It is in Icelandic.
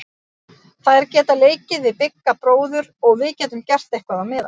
Þær geta leikið við Bigga bróður og við getum gert eitthvað á meðan.